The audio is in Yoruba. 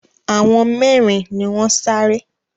Àwọn mẹ́rin ni wọ́n sáré